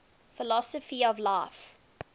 philosophy of life